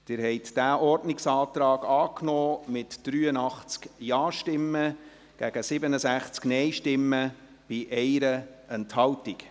Sie haben diesen Ordnungsantrag angenommen, mit 83 Ja- gegen 67 Nein-Stimmen bei 1 Enthaltung.